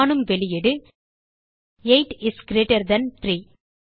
காணும் வெளியீடு 8 is greater than 3